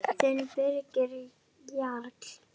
Þinn Birgir Jarl.